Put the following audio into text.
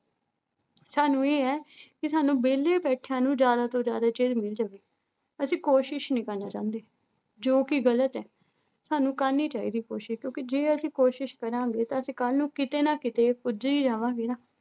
ਸਾਨੂੰ ਇਹ ਹੈ ਵੀ ਸਾਨੂੰ ਵਿਹਲੇ ਬੈਠਿਆਂ ਨੂੰ ਜ਼ਿਆਦਾ ਤੋਂ ਜ਼ਿਆਦਾ ਚੀਜ਼ ਮਿਲ ਜਾਵੇ, ਅਸੀਂ ਕੋਸ਼ਿਸ਼ ਨੀ ਕਰਨਾ ਚਾਹੁੰਦੇ, ਜੋ ਕਿ ਗ਼ਲਤ ਹੈ, ਸਾਨੂੰ ਕਰਨੀ ਚਾਹੀਦੀ ਕੋਸ਼ਿਸ਼ ਕਿਉਂਕਿ ਜੇ ਅਸੀਂ ਕੋਸ਼ਿਸ਼ ਕਰਾਂਗੇ ਤਾਂ ਅਸੀਂ ਕੱਲ੍ਹ ਨੂੰ ਕਿਤੇ ਨਾ ਕਿਤੇ ਪੁੱਜ ਹੀ ਜਾਵਾਂਗੇ ਨਾ।